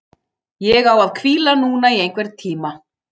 Ég á að hvíla núna í einhvern tíma.